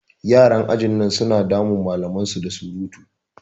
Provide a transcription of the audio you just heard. Yaran ajin nan su na damun malaman su da surutu.